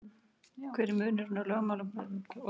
hver er þá munurinn á lögmálum og öðrum kenningum